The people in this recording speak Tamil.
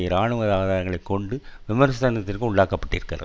இராணுவ ஆதரங்களை கொண்டு விமர்சனத்திற்கு உள்ளாக்கப்பட்டிருந்தது